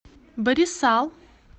барисал